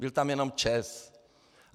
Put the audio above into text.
Byl tam jenom ČEZ.